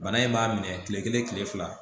Bana in b'a minɛ kile kelen kile fila